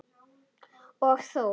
Og þó?